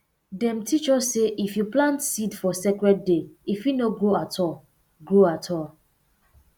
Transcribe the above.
dem teach us say if you plant seed for sacred day e fit no grow at all grow at all